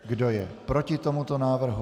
Kdo je proti tomuto návrhu?